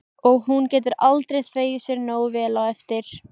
Og hún getur aldrei þvegið sér nógu vel á eftir.